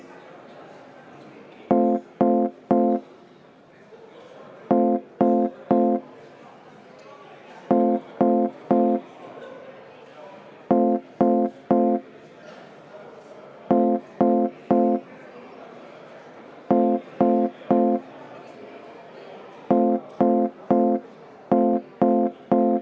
Vaheaeg kuni kella 17.37.40-ni.